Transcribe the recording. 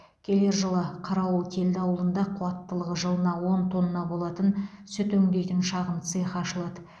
келер жылы қарауылкелді ауылында қуаттылығы жылына он тонна болатын сүт өңдейтін шағын цехы ашылады